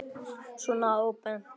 Svona óbeint.